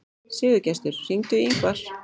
Sigurgestur, hringdu í Yngvar.